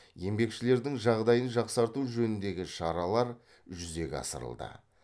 еңбекшілердің жағдайын жақсарту жөніндегі шаралар жүзеге асырылды